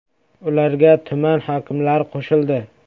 Ularga tuman hokimlari qo‘shildi.